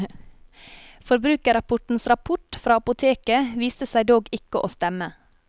Forbrukerrapportens rapport fra apoteket viste seg dog ikke å stemme.